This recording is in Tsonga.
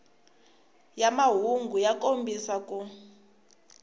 ya mahungu ya kombisa ku